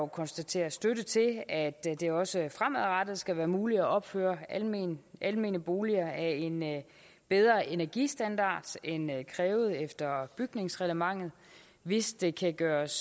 konstatere støtte til at det også fremadrettet skal være muligt at opføre almene almene boliger af en bedre energistandard end krævet efter bygningsreglementet hvis det kan gøres